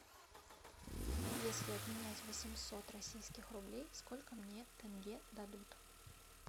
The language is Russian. если обменять восемьсот российских рублей сколько мне тенге дадут